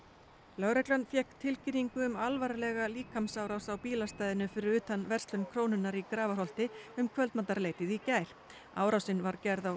lögreglan fékk tilkynningu um alvarlega líkamsárás á bílastæðinu fyrir utan verslun Krónunnar í Grafarholti um kvöldmatarleytið í gær árásin var gerð á